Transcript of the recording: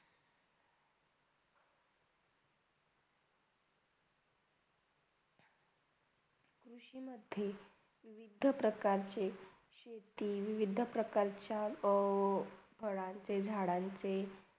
कृषीमधे विविध प्रकारचे शेती विविध प्रकारच्या ओ फळांचे, झाडांचे